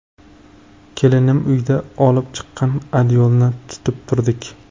Kelinim uydan olib chiqqan adyolni tutib turdik.